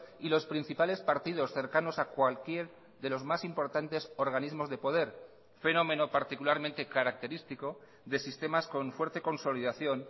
y los principales partidos cercanos a cualquier de los más importantes organismos de poder fenómeno particularmente característico de sistemas con fuerte consolidación